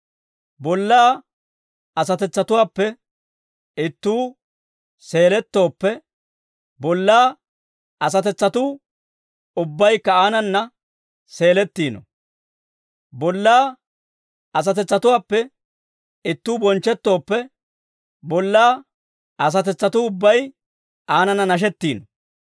Bollaa asatetsatuwaappe ittuu seelettooppe, bollaa asatetsatuu ubbaykka aanana seelettiino; bollaa asatetsatuwaappe ittuu bonchchettooppe, bollaa asatetsatuu ubbay aanana nashettiino.